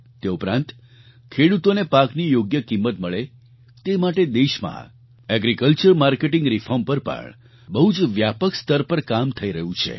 તે ઉપરાંત ખેડૂતોને પાકની યોગ્ય કિંમત મળે તે માટે દેશમાં એગ્રીકલ્ચર માર્કેટિંગ રિફોર્મ પર પણ બહુ જ વ્યાપક સ્તર પર કામ થઈ રહ્યું છે